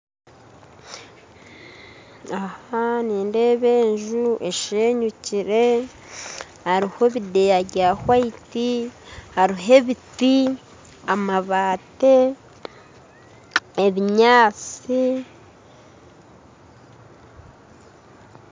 Aha nindeeba enju ashenyukire hariho ebindeeya bya hwaiti hariho ebiti amabaati, ebinyaatsi